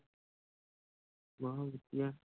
ਬਸ ਵਧੀਆ